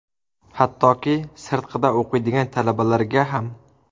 Hattoki, sirtqida o‘qiydigan talabalarga ham.